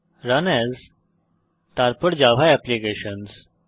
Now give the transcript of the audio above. run as তারপর Java applications